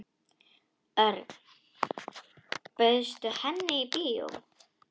Örn, bauðstu henni í bíó?